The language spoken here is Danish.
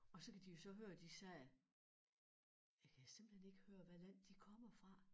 Og så kan de jo så høre de siger jeg kan simpelthen ikke høre hvad land de kommer fra